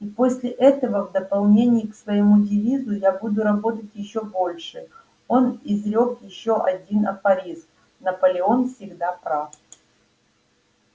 и после этого в дополнение к своему девизу я буду работать ещё больше он изрёк ещё один афоризм наполеон всегда прав